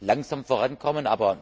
langsam vorankommen.